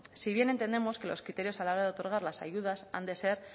si bien entendemos que los criterios a la hora de otorgar las ayudas han de ser